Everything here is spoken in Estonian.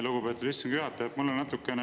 Lugupeetud istungi juhataja!